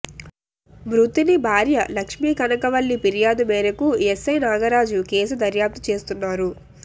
మృతుని భార్య లక్ష్మీకనకవల్లి ఫిర్యాదు మేరకు ఎస్ఐ నాగరాజు కేసు దర్యాప్తు చేస్తున్నారు